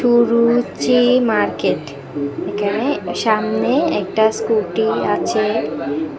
সুরুচি market এখানে সামনে একটা স্কুটি আছে।